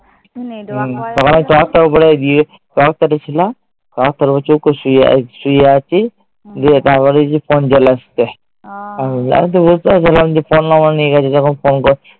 তারপরে তক্তার ওপরে গিয়ে, তক্তাটা ছিল, তক্তার ওপরে চুপ করে শুয়ে আছি। দিয়ে তারপরে দেখি phone চলে এসছে। আমি তো বুঝতে পারছিলাম, phone number নিয়ে গেছে যখন